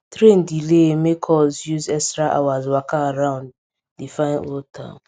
train delay make us use extra hours waka around di fine old town